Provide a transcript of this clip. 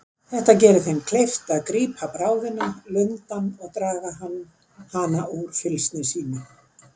Þetta gerir þeim kleift að að grípa bráðina, lundann, og draga hana úr fylgsni sínu.